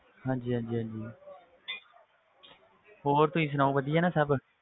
ਹਾਂਜੀ ਹਾਂਜੀ ਹਾਂਜੀ ਹੋਰ ਤੁਸੀਂ ਸੁਣਾਓ ਵਧੀਆ ਨਾ ਸਭ,